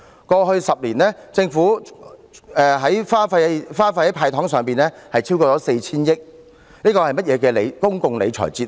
過去10年，政府花費在"派糖"上的開支，一共超過 4,000 億元，這是甚麼的公共理財哲學？